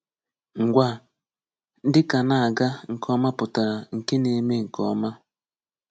Ngwa: Dịka na-aga nke ọma pụtara nke na-eme nke ọma.